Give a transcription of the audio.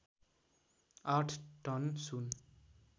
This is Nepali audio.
आठ टन सुन